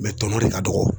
tɔ de ka dɔgɔ